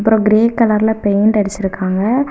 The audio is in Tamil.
அப்புறம் கிரீன் கலர்ல பெயிண்ட் அடிச்சிருக்காங்க.